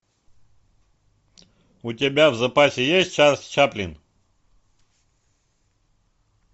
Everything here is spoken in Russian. у тебя в запасе есть чарльз чаплин